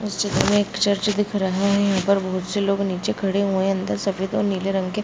सीधे मै एक चर्च दिख रहा है अंदर बहुत से लोग निचे खड़े हुए हैं अंदर सफ़ेद और नीले रंग के --